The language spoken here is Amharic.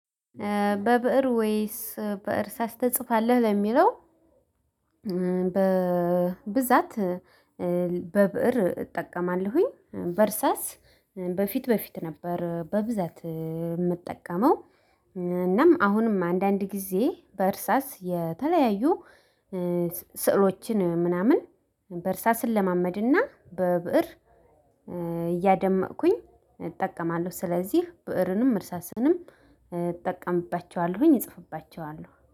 በብእር ወይስ በእርሳስ ተጽፋለህ ለሚለው? በብዛት በብእር እጠቀማለሁኝ በእርሳስ በፊት በፊት ነበር በብዛት የምጠቀመው። እናም አሁንም አንዳንድ ጊዜ በእርሳስ የተለያዩ ስዕሎችን ምናምን በእርሳስ እለማመድና በብእር እያደመኩኝ እጠቀማለሁ። ስለዚህ ብእርንም እርሳስንም እጠቀምባቸዋለሁኝ እጽፍባቸዋለሁ